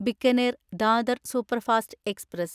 Bikaner Dadar superfast express